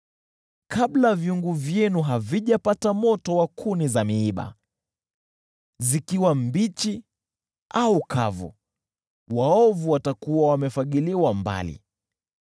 Kabla vyungu vyenu havijapata moto wa kuni za miiba, zikiwa mbichi au kavu, waovu watakuwa wamefagiliwa mbali.